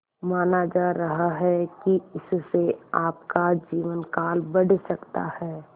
माना जा रहा है कि इससे आपका जीवनकाल बढ़ सकता है